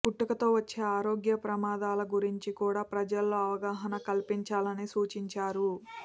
పుట్టుకతో వచ్చే ఆరోగ్య ప్రమాదాల గురించి కూడా ప్రజల్లో అవగాహన కల్పించాలని సూచించారు